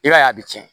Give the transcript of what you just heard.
I b'a ye a bɛ tiɲɛ